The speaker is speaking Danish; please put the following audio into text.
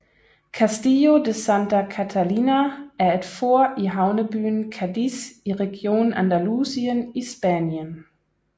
Castillo de Santa Catalina er et fort i havnebyen Cadiz i regionen Andalusien i Spanien